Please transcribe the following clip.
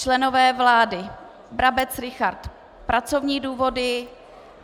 Členové vlády: Brabec Richard - pracovní důvody.